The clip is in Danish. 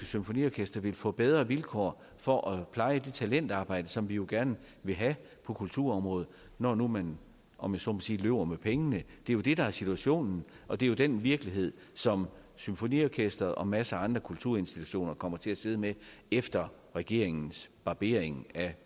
symfoniorkester vil få bedre vilkår for at pleje det talentarbejde som vi jo gerne vil have på kulturområdet når man nu om jeg så må sige løber med pengene det er jo det der er situationen og det er den virkelighed som symfoniorkesteret og masser af andre kulturinstitutioner kommer til at sidde i efter regeringens barbering af